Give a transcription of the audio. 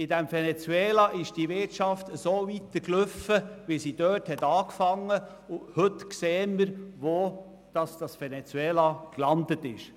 In Venezuela ist die Wirtschaft so weitergelaufen, wie sie dort angefangen hat, und heute sehen wir, wo Venezuela gelandet ist.